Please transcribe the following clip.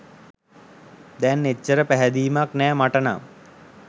දැන් එච්චර පැහැදීමක් නෑ මට නම්.